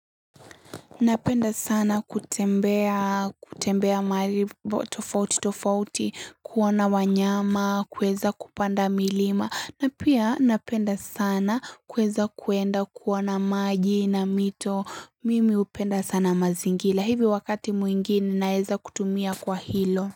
Napenda sana kutembea mali tofauti, tofauti, kuona wanyama, kuweza kupanda milima. Na pia napenda sana kueza kuenda kuona maji na mito. Mimi hupenda sana mazingila. Hivi wakati mwingine naeza kutumia kwa hilo.